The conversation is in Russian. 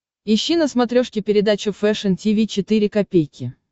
ищи на смотрешке передачу фэшн ти ви четыре ка